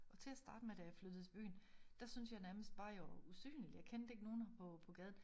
Og til at starte med da jeg flyttede til byen der synes jeg nærmest bare jeg var usynlig jeg kendte ikke nogle på på gaden